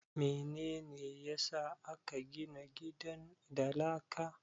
Mene ne ya sa aka gina gidan da laka?